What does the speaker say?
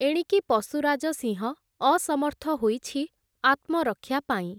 ଏଣିକି ପଶୁରାଜ ସିଂହ, ଅସମର୍ଥ ହୋଇଛି ଆତ୍ମରକ୍ଷା ପାଇଁ ।